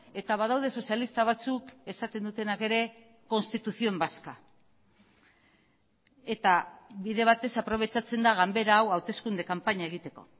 eta badaude sozialista batzuk esaten dutenak ere constitución vasca eta bide batez aprobetxatzen da ganbera hau hauteskunde kanpaina egiteko